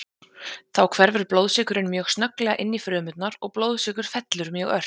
Þá hverfur blóðsykurinn mjög snögglega inn í frumurnar og blóðsykur fellur mjög ört.